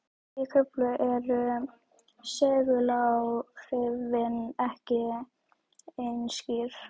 Í Kröflu eru seguláhrifin ekki eins skýr.